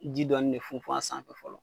Ji dɔɔni de funfun a sanfɛ fɔlɔ